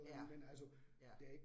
Ja, ja